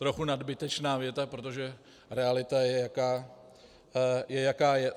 Trochu nadbytečná věta, protože realita je, jaká je.